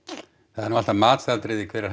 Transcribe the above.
það er nú alltaf matsatriði hver er